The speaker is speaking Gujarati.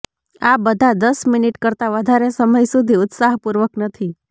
આ બધા દસ મિનિટ કરતાં વધારે સમય સુધી ઉત્સાહપૂર્વક નથી